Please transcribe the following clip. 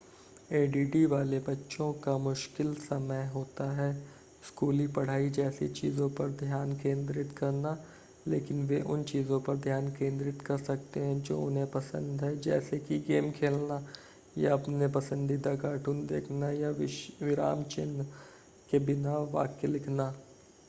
ADD वाले बच्चों का मुशकिल समय होता है स्कूली पढ़ाई जैसी चीज़ों पर ध्यान केंद्रित करना लेकिन वे उन चीज़ों पर ध्यान केंद्रित कर सकते हैं जो उन्हें पसंद है जैसे कि गेम खेलना या अपने पसंदीदा कार्टून देखना या विराम चिह्न के बिना वाक्य लिखना